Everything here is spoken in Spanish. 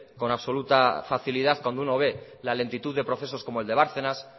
con absoluta facilidad cuando uno ve la lentitud de procesos como el de bárcenas